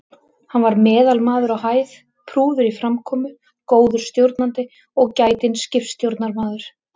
Hann var meðalmaður á hæð, prúður í framkomu, góður stjórnandi og gætinn skipstjórnarmaður.